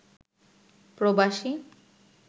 প্রবাসী